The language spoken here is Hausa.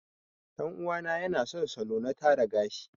Ɗan uwa na yana son salo na tara gashi.